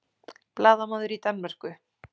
Blaðamaður í Danmörku